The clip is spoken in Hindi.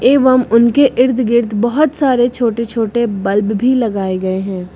एवं उनके इर्द गिर्द बहोत सारे छोटे छोटे बल्ब भी लगाए गए हैं।